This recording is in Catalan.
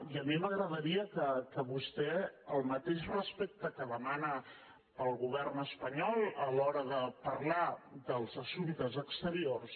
i a mi m’agradaria que vostè el mateix respecte que demana per al govern espanyol a l’hora de parlar dels assumptes exteriors